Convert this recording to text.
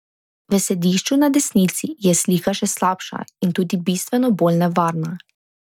V sedišču na desnici je slika še slabša in tudi bistveno bolj nevarna.